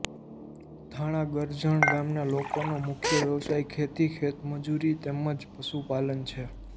થાણા ગરજણ ગામના લોકોનો મુખ્ય વ્યવસાય ખેતી ખેતમજૂરી તેમ જ પશુપાલન છે